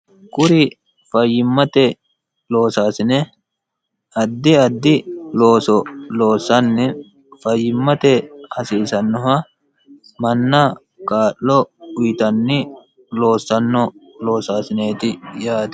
kuri fayyimmate loosaasine addi addi looso loossanni fayyimmate hasiisannoha manna kaa'lo uyitanni loossanno loosaasineeti yaate